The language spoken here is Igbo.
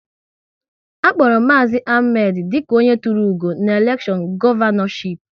A kpọrọ Maazi Ahmed dịka onye tụrụ ugo n'elekshọn Gọvanọship